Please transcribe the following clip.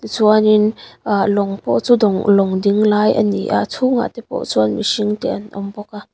ti chuanin aa lawng pawh chu lawng dinglai a ni a a chhungah tepawh chuan mihringte an awm bawk.